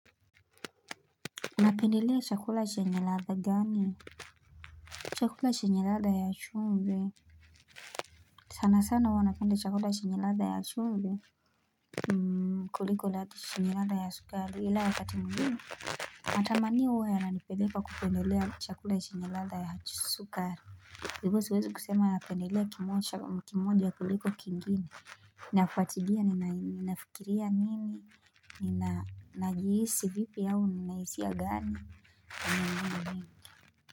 Napendelea chakula chenye ladha gani chakula chenye ladha ya chumvi sana sana huwa napenda chakula chenye ladha ya chumvi kuliko ladha ti ladha ya sukar ila wakati mginu Matamanio huwa yananipeleka kupendelea chakula chenye iadha ya sukar hivo siwezi kusema napendieea kimoja kuliko kingine Nafuatilia na nafikiria nina ni najihisi vipi au nina hisiya gani.